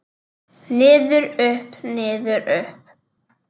Niður, upp, niður upp.